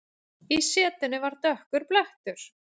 Í setunni var dökkur blettur.